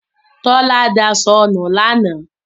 Tọ́lá daṣọ nu lánàá.